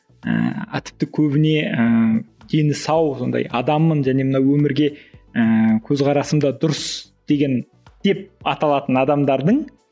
ііі тіпті көбіне ііі дені сау сондай адаммын және мына өмірге ііі көзқарасым да дұрыс деген деп аталатын адамдардың